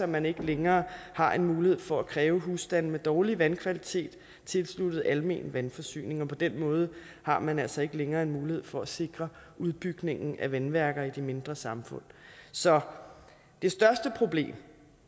man ikke længere har en mulighed for at kræve husstande med dårlig vandkvalitet tilsluttet almen vandforsyning på den måde har man altså ikke længere en mulighed for at sikre udbygningen af vandværker i de mindre samfund så det største problem